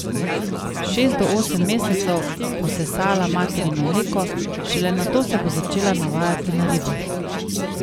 Šest do osem mesecev bo sesala materino mleko, šele nato se bo začela navajati na ribe.